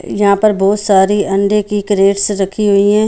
यहाँ पर बहुत सारी अंडे की क्रेटस रखी हुई हैं।